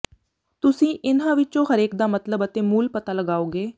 ਤੁਸੀਂ ਇਨ੍ਹਾਂ ਵਿੱਚੋਂ ਹਰੇਕ ਦਾ ਮਤਲਬ ਅਤੇ ਮੂਲ ਪਤਾ ਲਗਾਓਗੇ